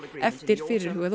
eftir fyrirhugaða